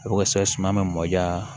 O ka se ka suman mɔja